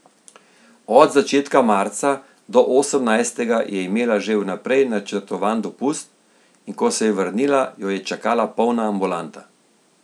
Od začetka marca do osemnajstega je imela že vnaprej načrtovan dopust, in ko se je vrnila, jo je čakala polna ambulanta.